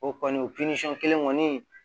O kɔni o kelen kɔni